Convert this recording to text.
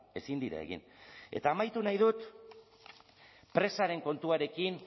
ezin dira egin eta amaitu nahi dut presaren kontuarekin